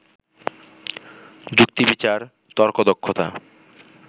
যুক্তিবিচার, তর্কদক্ষতা